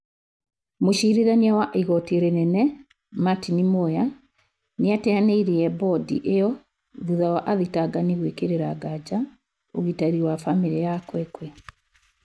Mũcirithania wa igoti rinene Matini Muya nĩ a teyanĩ-irie bondi ĩyo thutha wa athitangani gwikĩrĩra ngaja ũgitĩri wa famĩri ya Kwekwe.